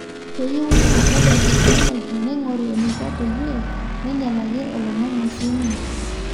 keyieu naa ore technology neigoru eneiko peyie meinyal ake oloingange sii ninye